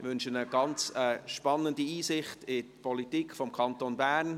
Ich wünsche einen ganz spannenden Einbilck in die Politik des Kantons Bern.